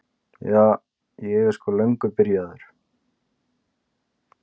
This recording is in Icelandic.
Ja, ég er sko löngu byrjuð.